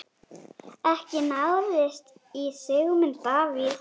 Ekki náðist í Sigmund Davíð.